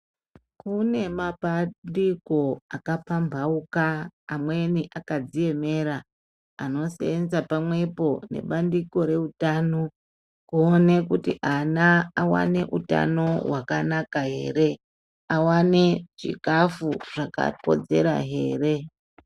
Kune mapandiko akapambauka amweni akadziemera anosenza pamwepo nebandiko reutano kuone kuti ana awane utano wakanaka ere awane chikafu zvakakodzera ere.